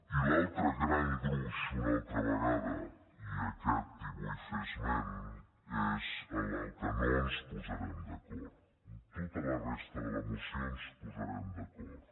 i l’altre gran gruix una altra vegada i d’aquest en vull fer esment és en el que no ens posarem d’acord en tota la resta de la moció ens posarem d’acord